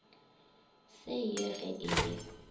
se ye ge e le